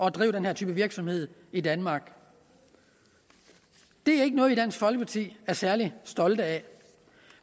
at drive den her type virksomhed i danmark det er ikke noget vi i dansk folkeparti er særlig stolte af